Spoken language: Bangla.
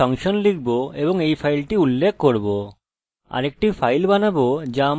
আমরা কি করব যে include ফাংশন লিখব এবং এই ফাইলটি উল্লেখ করব